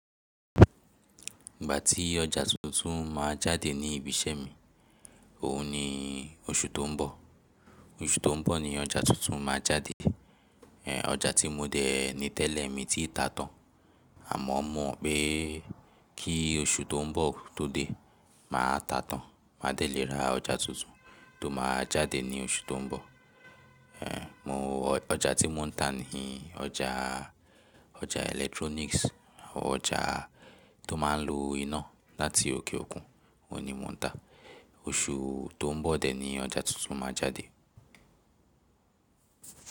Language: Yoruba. Ìgbà tí ọjà tuntun ma jáde ní ibi iṣẹ́ mi, òun ni oṣù tó ń bọ̀. Oṣù tó ń bọ̀ ni ọjà tuntun máa jáde. Ọjà tí mo dè ní tẹ́lẹ̀ mi tí ta tán àmọ́ mo mọ̀ pé kí oṣù tó ń bọ̀ tó dé, màá ta tán, máa dẹ̀ lè ra ọjà tuntun tó máa jáde ní oṣù tó ń bọ̀. Mo wọ̀ ọjà tí mò ń tà níì ọjàà, ọjà electronics, ọjà tó máa ń lo iná láti òkè òkun, òun ni mò ń ta. Oṣù tó ń bọ̀ dẹ̀ ní ọjà tuntun máa jáde.